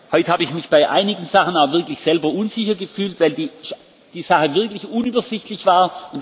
Heute habe ich mich bei einigen Sachen auch wirklich selber unsicher gefühlt, weil die Sache wirklich unübersichtlich